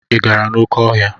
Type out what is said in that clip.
Ị gara n'oké ọhịa?